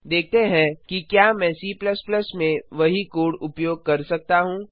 देखते हैं कि क्या मैं C में भी वही कोड उपयोग कर सकता हूँ